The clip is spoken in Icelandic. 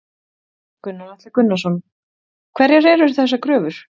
Gunnar Atli Gunnarsson: Hverjar eru þessar kröfur?